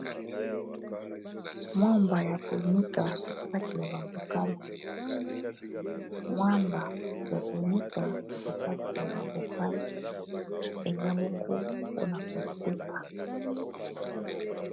mwamba ya konika nakati ya babokale mwamba ya konyika na kati ya babokal ezabongo mpona koteka